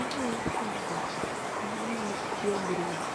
Anyalo keto kanyo mar tiegruok